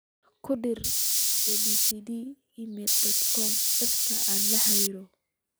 ku dar abc gmail dot com dadka aan la xiriiro